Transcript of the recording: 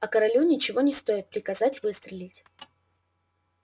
а королю ничего не стоит приказать выстрелить